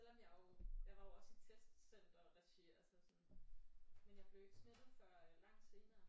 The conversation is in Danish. Selvom jeg jo jeg var jo også i testcenter-regi altså sådan men jeg blev ikke smittet før langt senere